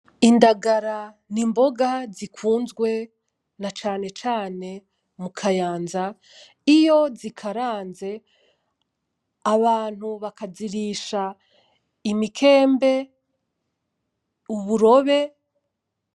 Indagala n’imboga zikunzwe na cane cane mu Kayanza iyo zikaranze, abantu bakazirisha imikembe, uburobe.